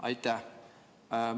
Aitäh!